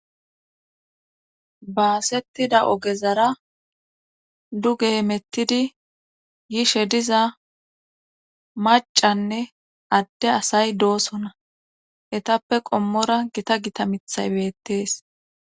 baasettida ogezara du ge emettidi yishe diza macanne adde asay doosona etappe qommora gita gita mithay beettees